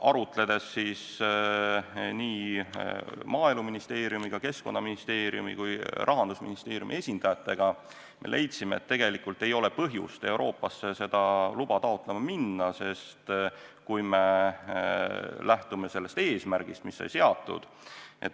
Arutledes Maaeluministeeriumi, Keskkonnaministeeriumi ja ka Rahandusministeeriumi esindajatega, leidsime, et tegelikult ei ole põhjust Euroopasse seda luba taotlema minna, sest kui me lähtume sellest eesmärgist, mis sai seatud, et